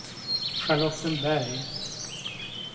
Charlottenberg